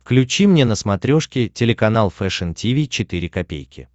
включи мне на смотрешке телеканал фэшн ти ви четыре ка